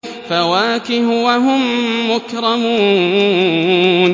فَوَاكِهُ ۖ وَهُم مُّكْرَمُونَ